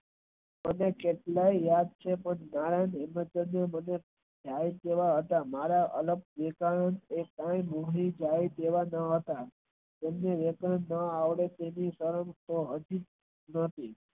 આપડે કેટલાય મારા આગળ દેખાય તેવા ના હતા તેમનું વર્તણુક એવું હતું.